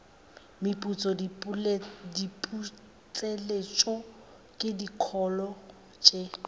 meputso diputseletšo le dikholo tše